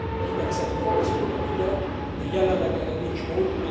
Hitem szerint valószínűleg igen, de jelenleg erre nincs mód.